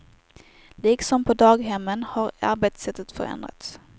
Liksom på daghemmen har arbetssättet förändrats.